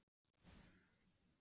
En ætlaði hann að gera það?